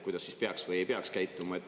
Kuidas siis peaks või ei peaks käituma?